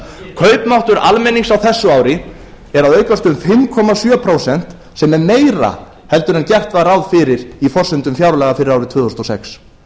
kaupmáttur almennings á þessu ári er að aukast um fimm komma sjö prósent sem er meira en gert var ráð fyrir í forsendum fjárlaga fyrir árið tvö þúsund og sex